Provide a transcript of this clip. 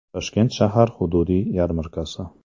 Toshkent shahar hududiy yarmarkasi.